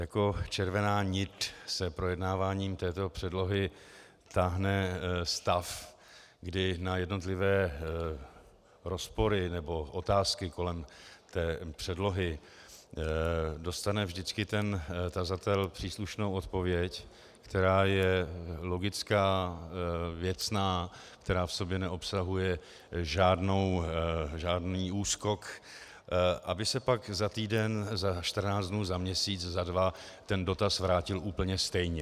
Jako červená nit se projednáváním této předlohy táhne stav, kdy na jednotlivé rozpory nebo otázky kolem té předlohy dostane vždycky ten tazatel příslušnou odpověď, která je logická, věcná, která v sobě neobsahuje žádný úskok, aby se pak za týden, za 14 dnů, za měsíc, za dva, ten dotaz vrátil úplně stejně.